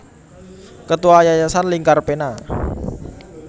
Ketua Yayasan Lingkar Pena